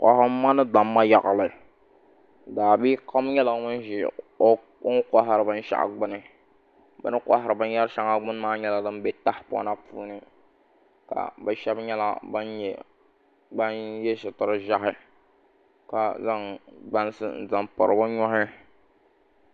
Kohamma ni damma yaɣali daabia kam nyɛla ŋun ʒi o ni kohari binshaɣu gbuni bi ni kohari binyɛri shɛŋa gbuni maa nyɛla din bɛ tahapona puuni ka bi shab nyɛla bin yɛ sitiri ʒiɛhi ka zaŋ bansi n zaŋ piri bi nuhi